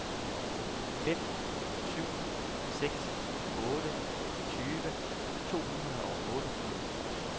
fem syv seks otte tyve to hundrede og otteogfirs